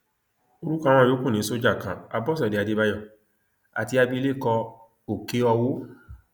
orúkọ àwọn yòókù ni sójà kan àbọṣẹdé àdébáyò àti abilékọ òkèọwò